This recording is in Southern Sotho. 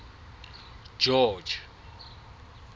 george